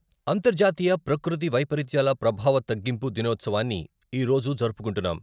"అంతర్జాతీయ ప్రకృతి వైపరీత్యాల ప్రభావ తగ్గింపు " దినోత్సవాన్ని ఈరోజు జరుపుకుంటున్నాం.